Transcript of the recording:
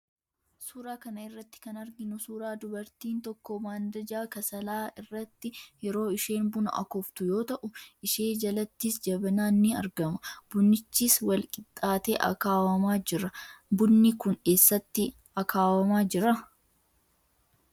Suuraa kana irratti kan arginu suuraa dabartiin tokko maandajaa kasalaa irratti yeroo isheen buna akooftu yoo ta'u, ishee jalattis jabanaan in argama. Bunichis walqixxaatee akkaawamaa jira. Bunni kun eessatti akaawamaa jira?